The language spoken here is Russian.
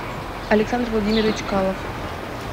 александр владимирович калов